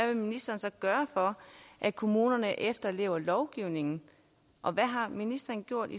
vil ministeren så gøre for at kommunerne efterlever lovgivningen og hvad har ministeren gjort